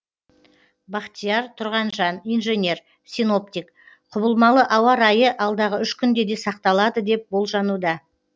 бахтияр тұрғанжан инженер синоптик құбылмалы ауа райы алдағы үш күнде де сақталады деп болжануда